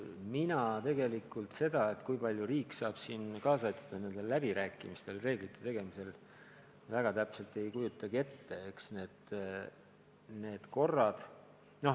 Mina tegelikult seda, kui palju riik saab kaasa aidata nendel läbirääkimistel, nende reeglite tegemisel, täpselt ei kujutagi ette.